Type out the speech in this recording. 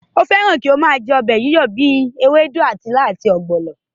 Ó fẹ́ràn kí ó máa jẹ́ ọbẹ̀ yíyọ̀ bíi ewédú, ilá àti ọ̀gbọ̀nọ̀